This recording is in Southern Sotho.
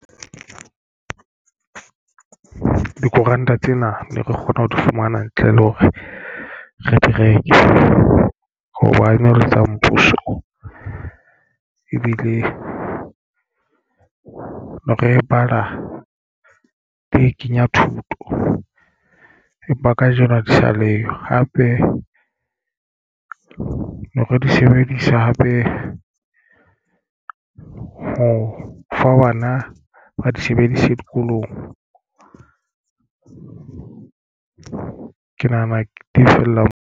Dikoranta tsena ne re kgona ho di fumana ntle le hore re di reke hoba ene e le mmuso ebile re bala di kenya thuto. Empa kajeno ha di sa leyo hape re di sebedisa hape ho fa bana ba di sebedise dikolong ke nahana di fella moo.